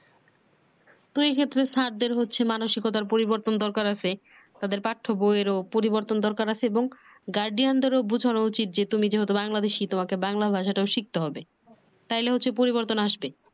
স্যারদের হচ্ছে মানসিকতার পরিবর্তন দরকার আছে তাদের পাঠ্য বইয়ের ও পরিবর্তন দরকার আছে এবং গার্ডিয়ানদের ও বুঝানো উচিত যে তুমি যেহেতু বাংলাদেশী তোমাকে বাংলা ভাষাটা ও শিখতে হবে তাইলে হচ্ছে পরিবর্তন আসবে